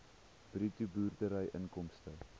bruto boerderyinkomste